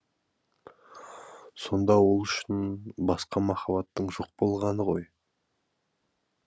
сонда ол үшін басқа махаббаттың жоқ болғаны ғой